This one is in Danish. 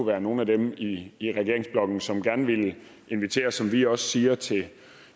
være nogle af dem i i regeringsblokken som gerne vil inviteres som vi også siger